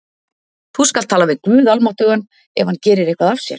Þú skalt tala við guð almáttugan, ef hann gerir eitthvað af sér?